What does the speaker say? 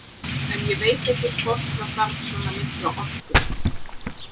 En ég veit ekkert hvort það þarf svona mikla orku.